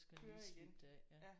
Så skal den lige slibe det af ja